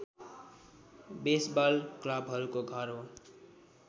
baseball क्लबहरूको घर हो